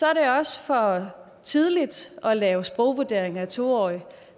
er det også for tidligt at lave sprogvurdering af to årige